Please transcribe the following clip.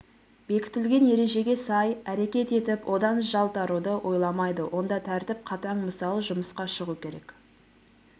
бекітілген ережеге сай әрекет етіп одан жалтаруды ойламайды онда тәртіп қатаң мысалы жұмысқа шығу керек